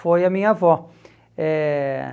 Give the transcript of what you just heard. Foi a minha avó. Eh